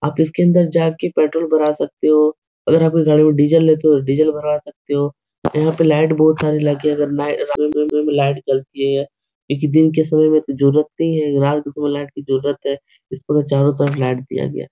आप इसके अंदर जा के पेट्रोल भरा सकते हो अगर आपके गाड़ी में डीजल है तो डीजल भरवा सकते हो यहाँ पर लाइट बहुत सारी लाइट लगी है अगर लाइट जलती है इसकी दिन के समय में जरूरत नहीं है रात के समय लाइट की जरूरत है इसमें चारों तरफ लाइट दिया गया --